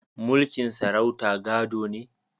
Mulkin sarauta gado ne